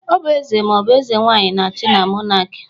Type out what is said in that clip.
Ọ bu Eze maọbu Ezenwaanyi na-achị na mọnakị